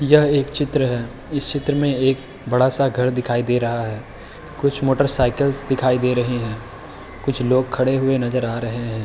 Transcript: यह एक चित्र है। इस चित्र में एक बड़ा-सा घर दिखाई दे रहा है। कुछ मोटर साइकल्स दिखाई दे रहे हैं। कुछ लोग खड़े नजर आ रहे हैं।